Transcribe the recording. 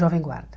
Jovem Guarda.